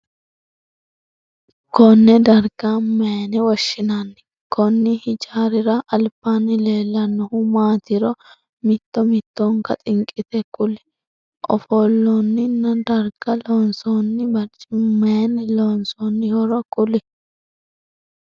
Konne darga mayinne woshinnanni? Konni hijaarira albaanni leelanohu maatiro mitto mittonka xinqite kuli? Afolinnanni darga loonsoonni barcimi mayinni loonsoonnihoro kuli?